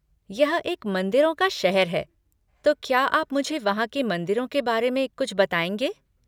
यह एक मंदिरों का शहर है, तो क्या आप मुझे वहाँ के मंदिरों के बारे में कुछ बताएँगे?